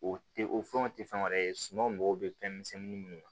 O tɛ o fɛnw tɛ fɛn wɛrɛ ye suman mago bɛ fɛn misɛnin minnu na